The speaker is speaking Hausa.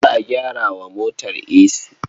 Za a gyara wa motar esi.